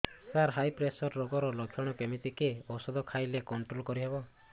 ସାର high pressure ରୋଗର ଲଖଣ କେମିତି କି ଓଷଧ ଖାଇଲେ କଂଟ୍ରୋଲ କରିହେବ